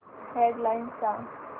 head lines सांग